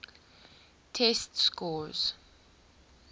test scores